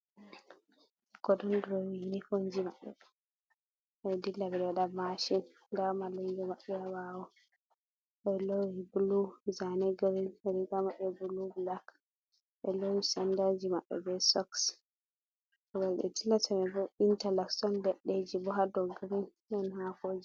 Kodonndori yunifomji maɓɓe, ɓe dilla ɓe ɗo waɗa maaci. Ndaa mallumjo maɓɓe ha ɓaawo, ɓe loowi bulu zaane girin riiga maɓɓe buluu bulak, ɓe loowi sanndaji maɓɓe bee soks. Wuro ɓe dillata man boo intalop on leɗɗeeji bo ha dow girin ɗon haakooji.